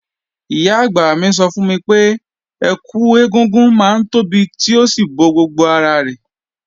Ìyá-àgbà mi sọ fún mi pé, ẹkù ẹ̀gúngún máa ń tóbi tí ó sì bo gbogbo ara rẹ̀.